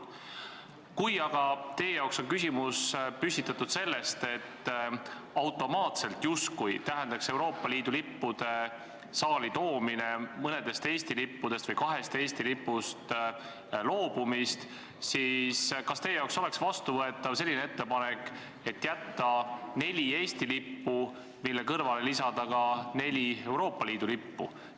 Kui aga teie jaoks on küsimus selles, et Euroopa Liidu lippude saali toomine tähendab automaatselt kahest Eesti lipust loobumist, siis kas teile oleks vastuvõetav selline lahendus, et jätta neli Eesti lippu, mille kõrvale lisada ka neli Euroopa Liidu lippu?